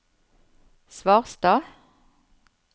Svarstad